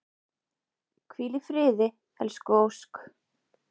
Hvíl í friði elsku Ósk.